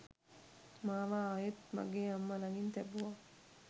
මාව ආයෙත් මගේ අම්මා ලඟින් තැබුවා